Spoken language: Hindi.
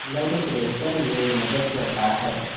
ब्लड प्रेशर में मदद करता है